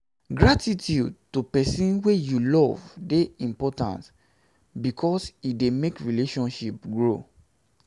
gratitude to persin wey you love de important because e de make relationship grow